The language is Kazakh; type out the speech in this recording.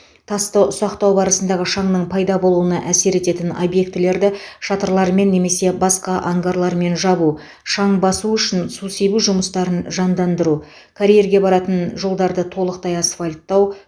тасты ұсақтау барысындағы шаңның пайда болуына әсер ететін объектілерді шатырлармен немесе басқа ангарлармен жабу шаң басу үшін су себу жұмыстарын жандандыру карьерге баратын жолдарды толықтай асфальттау